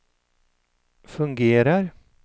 fungerar